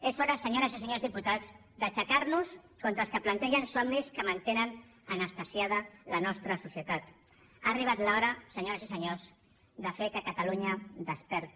és hora senyores i senyors diputats d’aixecar nos contra els que plantegen somnis que mantenen anestesiada la nostra societat ha arribat l’hora senyores i senyors de fer que catalunya desperti